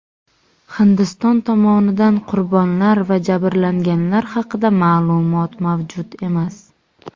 Hindiston tomonidan qurbonlar va jabrlanganlar haqida ma’lumot mavjud emas.